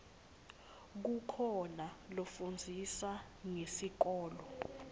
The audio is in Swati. kukhoa lafundzisa ngesikolo